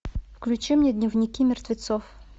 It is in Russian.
включи мне дневники мертвецов